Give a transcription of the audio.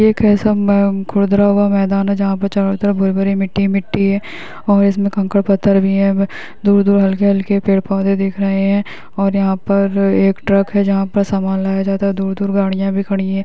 एक ऐसा म खुरदुरा हुआ मैदान है जहाँ पे चारो तरफ भूर-भूरी मिट्टी ही मिट्टी है और इसमें कंकड़-पत्थर भी है दूर-दूर हल्के-हल्के पेड़-पौधे दिख रहे है और यहाँ पर एक ट्रक है जहाँ पर समान लगाया जाता है दूर-दूर गाड़ियां भी खड़ी हैं।